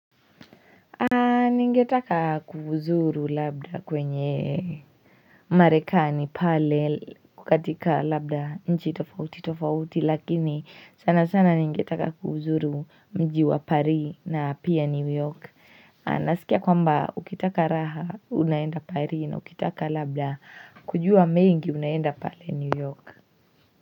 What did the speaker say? Ningetaka kuhuzuru labda kwenye Marekani pale kukatika labda nchi tofauti tofauti lakini sana sana ningetaka kuhuzuru mjiwa pari na pia new york Nasikia kwamba ukitaka raha unaenda paris na ukitaka labda kujua mengi unaenda pale new york.